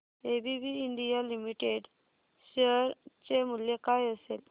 ABB India limited share चे मूल्य काय असेल